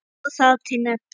Má þar til nefna